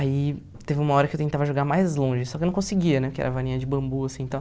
Aí teve uma hora que eu tentava jogar mais longe, só que eu não conseguia né, porque era varinha de bambu assim tal.